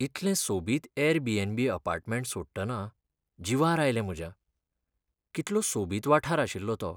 इतलें सोबीत Airbnb. Apartment सोडटना जिवार आयलें म्हज्या, कितलो सोबीत वाठार आशिल्लो तो.